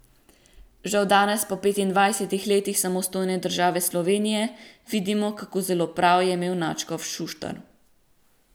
Žal danes, po petindvajsetih letih samostojne države Slovenije, vidimo, kako zelo prav je imel nadškof Šuštar.